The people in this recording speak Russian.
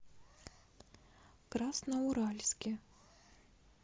красноуральске